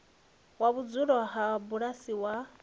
wa vhudzulo ha bulasi wa